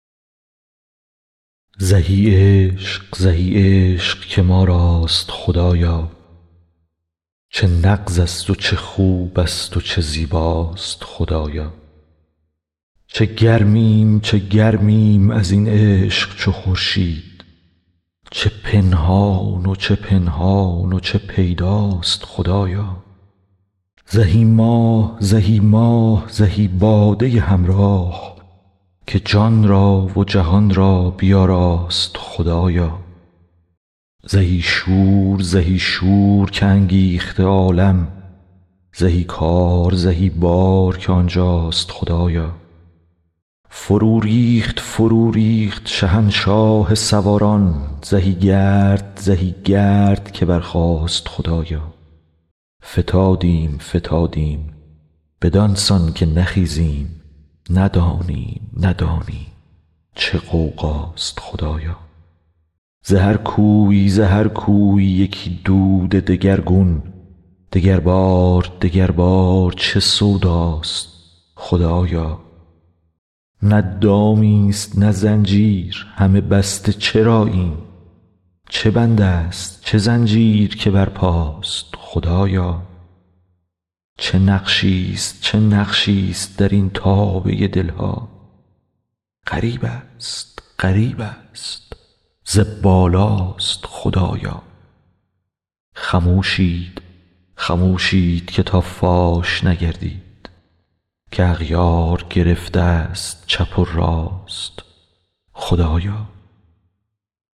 زهی عشق زهی عشق که ما راست خدایا چه نغزست و چه خوبست و چه زیباست خدایا چه گرمیم چه گرمیم از این عشق چو خورشید چه پنهان و چه پنهان و چه پیداست خدایا زهی ماه زهی ماه زهی باده همراه که جان را و جهان را بیاراست خدایا زهی شور زهی شور که انگیخته عالم زهی کار زهی بار که آن جاست خدایا فروریخت فروریخت شهنشاه سواران زهی گرد زهی گرد که برخاست خدایا فتادیم فتادیم بدان سان که نخیزیم ندانیم ندانیم چه غوغاست خدایا ز هر کوی ز هر کوی یکی دود دگرگون دگربار دگربار چه سوداست خدایا نه دامیست نه زنجیر همه بسته چراییم چه بندست چه زنجیر که برپاست خدایا چه نقشیست چه نقشیست در این تابه دل ها غریبست غریبست ز بالاست خدایا خموشید خموشید که تا فاش نگردید که اغیار گرفتست چپ و راست خدایا